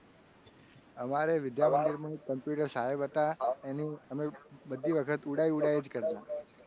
અમારે વિદ્યામંદિર માં computer ના સાહેબ હતા. એની અમે બધી વખત ઉડાય ઉડાય જ કરતા.